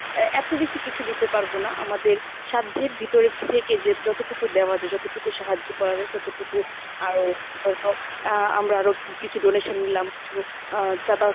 এ এত বেশি কিছু দিতে পারব না আমাদের সাধ্যের ভিতরে থেকে যে যতটুকু দেওয়া যায় যতটুকু সাহায্য করা যায় ততটুকু আরো আহ আমরা আরো কিছু donation নিলাম কিছু আহ চাদা